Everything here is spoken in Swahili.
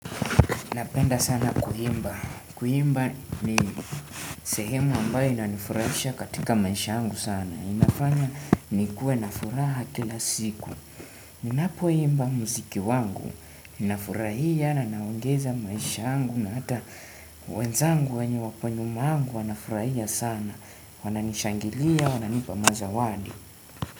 Napenda sana kuimba. Kuimba ni sehemu ambayo inanifurahisha katika maisha yangu sana. Inafanya nikuwe na furaha kila siku. Ninapoimba muziki wangu. Nafurahia na naongeza maisha yangu na hata wenzangu wenye wako nyumangu wanafurahia sana. Wananishangilia, wananipa mazawadi.